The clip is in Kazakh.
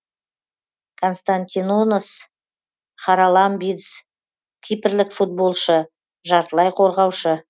константинос хараламбидис кипрлік футболшы жартылай қорғаушы